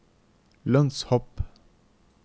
lønnshopp